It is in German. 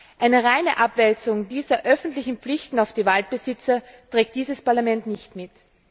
aus. Eine reine Abwälzung dieser öffentlichen Pflichten auf die Waldbesitzer trägt dieses Parlament nicht mit.